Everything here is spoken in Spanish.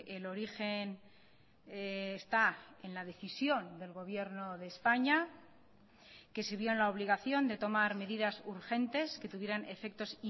el origen está en la decisión del gobierno de españa que se vio en la obligación de tomar medidas urgentes que tuvieran efectos